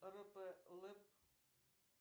рп лэп